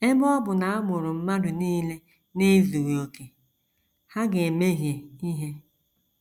Ebe ọ bụ na a mụrụ mmadụ nile n’ezughị okè, ha ga - emehie ihe.